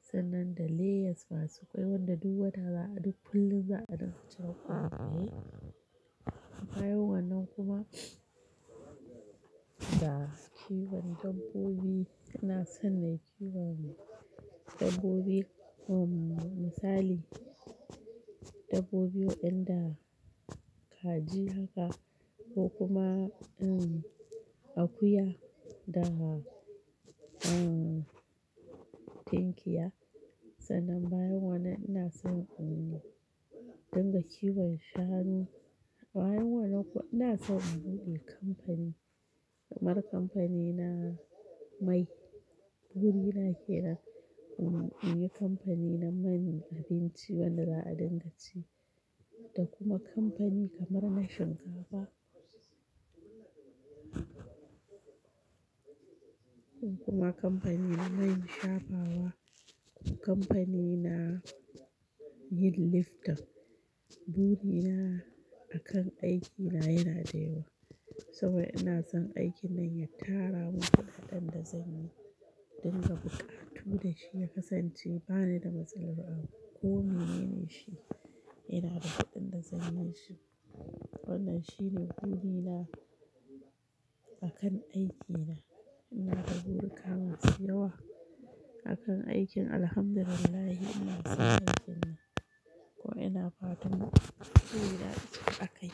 sannan da layers masu ƙwai wanda duk wata za a duk kullum za a dinga ciron ƙoyaye. Bayan wannan kuma da kiwon dabbobi ina son nayi kiwon dabbobi uh misali dabbobi wan'en da kaji haka ko kuma em akuya da em tunkiya. Sannan bayan wannan ina son in dinga kiwon shanu. Bayan wannan kuma ina son in buɗe kamfani kamar kamfani na mai. Buri na ke nan in yi kamfani na man abinci wanda za a dinga ci da kuma kamfani kamar na shinkafa. Kuma kamfani na man shafawa kuma kamfani na yin lifton. Buri na akan aikina yana dayawa saboda ina son aikin nan ya tara mun kuɗaɗen da zan yi don na buƙatu dashi ya kasance ba ni da matsalar abu ko mene ne shi ina da kuɗin da zan yishi. Wannan shine buri na akan aikina. Ina da burika ma su yawa akan aikin Alhamdulillah ina son aikin nan ko ina fatan buri na ya cika akai.